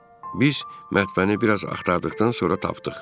Biz mətbəni biraz axtardıqdan sonra tapdıq.